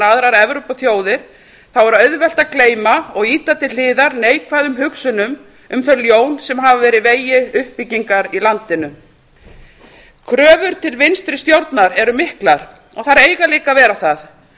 aðrar evrópuþjóðir þá er auðvelt að gleyma og ýta til hliðar neikvæðum hugsunum um þau ljón sem hafa verið í vegi uppbyggingar í landinu kröfur til vinstri stjórnar eru miklar og þær eiga líka að vera það